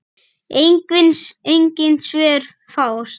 Engin svör fást.